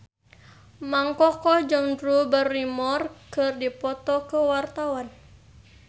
Mang Koko jeung Drew Barrymore keur dipoto ku wartawan